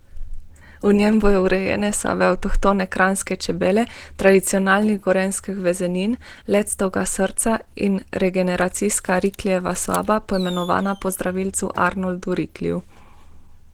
V njem bodo urejene sobe avtohtone kranjske čebele, tradicionalnih gorenjskih vezenin, lectovega srca ter regeneracijska Riklijeva soba, poimenovana po zdravilcu Arnoldu Rikliju.